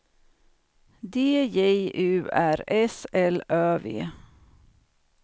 D J U R S L Ö V